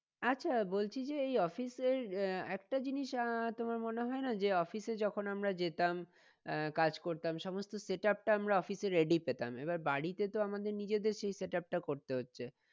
আচ্ছা বলছি যে এই office এর আহ একটা জিনিস আহ তোমার মনে হয় না যে office এ যখন আমরা যেতাম আহ কাজ করতাম সমস্ত setup টা আমরা office এ ready পেতাম এবার বাড়িতে তো আমাদের নিজেদের সেই setup টা করতে হচ্ছে।